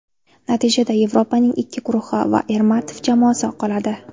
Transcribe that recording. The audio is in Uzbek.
Natijada Yevropaning ikkita guruhi va Ermatov jamoasi qoladi.